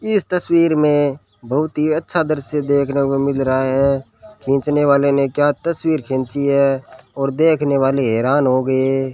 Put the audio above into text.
इस तस्वीर मे बहोत ही अच्छा दृश्य देखने को मिल रहा है खींचने वाले ने क्या तस्वीर खींची है और देखने वाले हैरान हो गये --